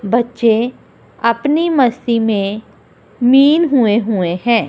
बच्चे अपनी मस्ती में मीन हुए हुए हैं।